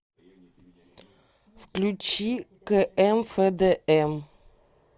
включи кээмфэдээм